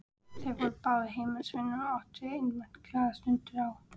Þeir voru báðir heimilisvinir og áttu einatt glaðar stundir á